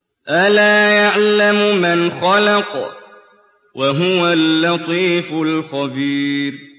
أَلَا يَعْلَمُ مَنْ خَلَقَ وَهُوَ اللَّطِيفُ الْخَبِيرُ